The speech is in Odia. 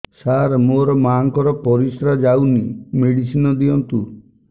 ସାର ମୋର ମାଆଙ୍କର ପରିସ୍ରା ଯାଉନି ମେଡିସିନ ଦିଅନ୍ତୁ